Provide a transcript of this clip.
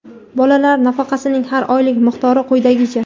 Bolalar nafaqasining har oylik miqdori quyidagicha:.